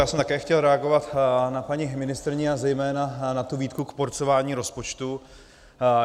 Já jsem také chtěl reagovat na paní ministryni a zejména na tu výtku k porcování rozpočtu.